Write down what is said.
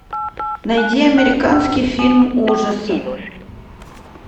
найди американский фильм ужасов